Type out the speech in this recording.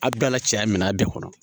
A bɛɛ la cɛya minɛn de kɔnɔ